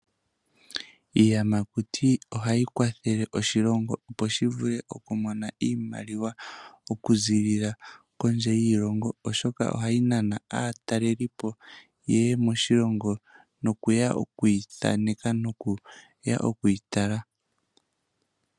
Iiyamakuti ohayi kwathele oshilongo opo shi vule oku mona iimaliwa okuziilila kondje yiilongo, oshoka ohayi nana aatalelipo yeye moshilongo, noku ya okuyi thaneka noku ya okuyi tala.